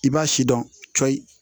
I b'a si dɔn cɔyi